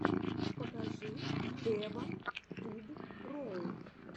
покажи эван туб роу